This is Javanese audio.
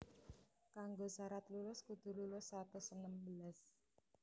Kanggo sarat lulus kudu lulus satus enem belas